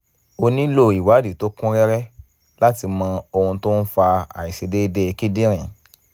o nílò ìwádìí tó kún rẹ́rẹ́ láti mọ ohun tó ń fa àìṣedéédé kíndìnrín